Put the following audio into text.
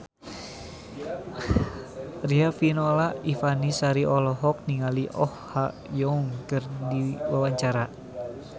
Riafinola Ifani Sari olohok ningali Oh Ha Young keur diwawancara